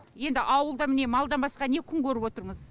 енді ауылда міне малдан басқа не күн көріп отырмыз